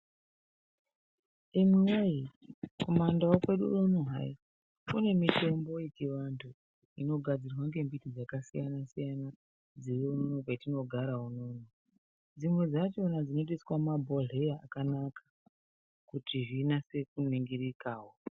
Imwiwee kumandau kwedu unono hai kune mutombo yechivantu inogadzirwe ngemiti dzakasiyana -siyana dziriunono kwetinogara uno. Dzimwe dzachona dzinotoiswa mumabhodhleya akanaka kuti zvinase kuningirikawo.